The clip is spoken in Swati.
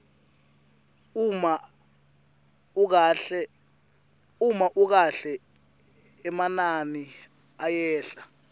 uma ukahle emanani ayehla